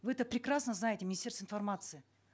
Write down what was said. вы это прекрасно знаете министерство информации